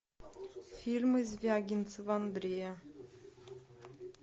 фильмы звягинцева андрея